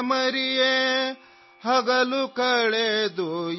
میرے سمجھدار لاڈلے، سو جاؤ،